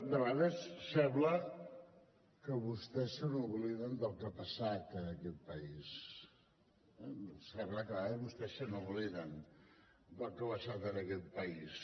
de vegades sembla que vostès se n’obliden del que ha passat en aquest país sembla que a vegades vostès se n’obliden del que ha passat en aquest país